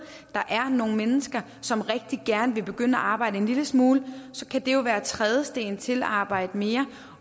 der er nogle mennesker som rigtig gerne vil begynde at arbejde en lille smule det kan jo være en trædesten til at arbejde mere